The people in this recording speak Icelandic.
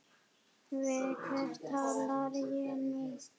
Við hvern tala ég nú?